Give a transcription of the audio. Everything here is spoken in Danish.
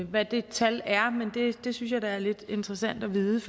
hvad det tal er men det synes jeg da er lidt interessant at vide